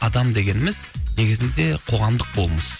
адам дегеніміз негізінде қоғамдық болмыс